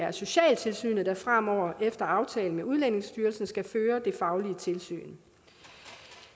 er socialtilsynet der fremover efter aftale med udlændingestyrelsen skal føre det faglige tilsyn